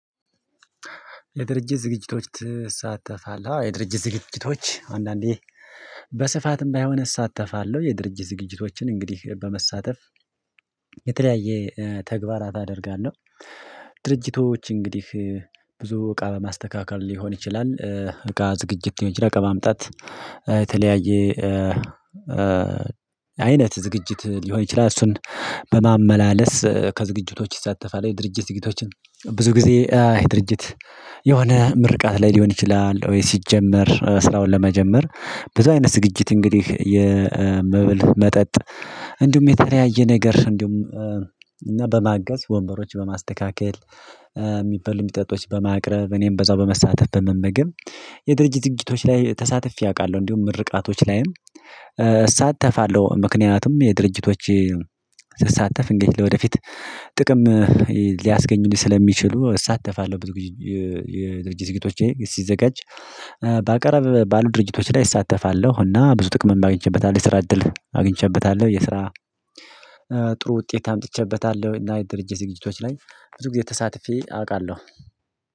የድርጅት ዝግጅቶች ትሳተፋለህ? አዎ የድርጅት ዝግጅቶች አንዳንዴ በስፋትም ባይሆን እሳተፋለሁ የድርጅት ዝግጅቶችን እንግዲህ በመሳተፍ የተለያየ ተግባራት አደርጋለሁ። ድርጅቶች እንግዲህ ብዙ እቃ በማስተካከል ሊሆን ይችላል እቃ ዝግጅት ሊሆን ይችላል እቃ ማምጣት የተለያየ አይነት ዝግጅት ሊሆን ይችላል እሱን በማመላለስ ከዝግጅቶች ይሳተፋለሁ። የድርጅት ዝግጅቶችን ብዙ ጊዜ አይ ድርጅት የሆነ ምርቃት ላይ ሊሆን ይችላል ወይ ሲጀመር ስራውን ለመጀመር ብዙ አይነት ዝግጅት እንግዲህ የመበል መጠጥ እንዲሁም የተለያየ ነገር እንዲሁም እና በማገዝ ወንበሮች በማስተካከል የሚበል የሚጠጡት በማቅረብ እኔም በዛው በመሳተፍ በመመገብ የድርጅት ዝግጅቶች ላይ ተሳትፌ አውቃለሁ። እንዲሁም ምርቃቶች ላይም እሳተፋለሁ ምክንያቱም የድርጅቶች ስሳተፍ እንገልግል ወደፊት ጥቅም ሊያስገኝልኝ ስለሚችሉ እሳተፋለሁ። የድርጅት የድርጅቶቼ ሲዘጋጅ በአቀረብ ባሉ ድርጅቶች ላይ እሳተፋለሁ እና ብዙ ጥቅም እማግኝቼበታለሁ የስራ እድል አግኝቼበታለሁ የስራ ጥሩ ውጤት አምጥቼበታለሁ። እና የድርጅት ዝግጅቶች ላይ ብዙ ጊዜ ተሳትፌ አውቃለሁ።